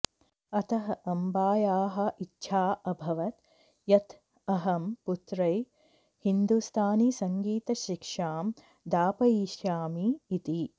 अतः अम्बायाः इच्छा अभवत् यत् अहं पुत्र्यै हिन्दुस्तानीसङ्गीतशिक्षां दापयिषामि इति